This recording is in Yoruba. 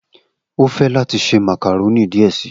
O fẹ lati se macaroni diẹ sii